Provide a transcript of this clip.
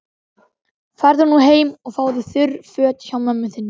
Farðu nú heim og fáðu þurr föt hjá mömmu þinni.